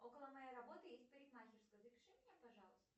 около моей работы есть парикмахерская запиши меня пожалуйста